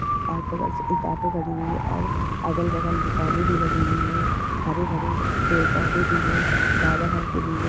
और बगल से एक ऑटो खड़ी हुई है और अगल बगल दुकानें भी लगी हुई है हरे भरे पेड़ पौधे भी है बादल हल्के नीले--